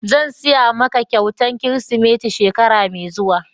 Zan siya ma ka kyautan kirisimeti shekara mai zuwa.